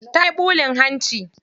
Tayi ɓulin hanci.